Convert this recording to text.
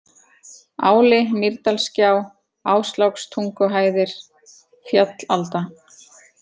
Áli, Mýrdalsgjá, Áslákstunguhæðir, Fjallalda